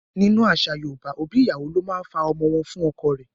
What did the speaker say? Nínú àṣà Yorùbá, òbí ìyàwó ló máa fa ọmọ wọ́n fún ọkọ rẹ.